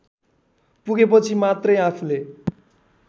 पुगेपछि मात्रै आफूले